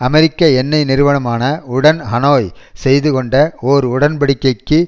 அமெரிக்க எண்ணெய் நிறுவனமான உடன் ஹனோய் செய்து கொண்ட ஓர் உடன்படிக்கைக்கு